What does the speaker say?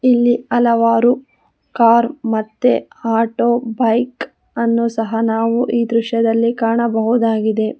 ಇಲ್ಲಿ ಹಲವಾರು ಕಾರ್ ಮತ್ತೆ ಆಟೋ ಬೈಕ್ ಅನ್ನು ಸಹ ನಾವು ಈ ದೃಶ್ಯದಲ್ಲಿ ಕಾಣಬಹುದಾಗಿದೆ.